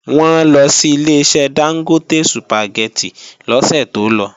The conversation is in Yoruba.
Wọ́n lọ sí Ileṣẹ́ Dángótè Sùpàgẹ́tì lọ́sẹ̀ tó lọ